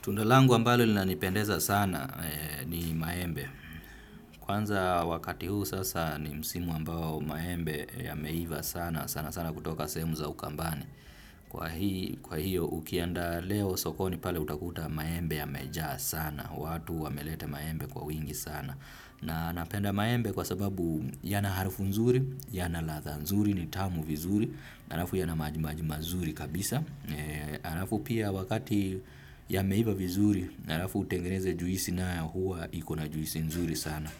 Tunda langu ambalo linanipendeza sana ni maembe. Kwanza wakati huu sasa ni msimu ambao maembe yameiva sana sana sana kutoka sehemu za ukambani. Kwa hiyo ukienda leo sokoni pale utakuta maembe yamejaa sana. Watu wameleta maembe kwa wingi sana. Na napenda maembe kwa sababu yana harufu nzuri, yana ladha nzuri, ni tamu vizuri, halafu yana majimaji mazuri kabisa. Halafu pia wakati yameiva vizuri, halafu utengeneze juisi nayo huwa iko na juisi nzuri sana.